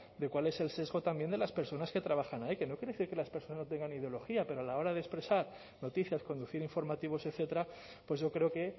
de cuál es el sesgo también de las personas que trabajan ahí que no quiere decir que las personas no tengan ideología pero a la hora de expresar noticias conducir informativos etcétera pues yo creo que